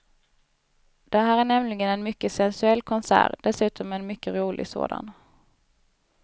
Det här är nämligen en mycket sensuell konsert, dessutom en mycket rolig sådan.